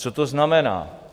Co to znamená?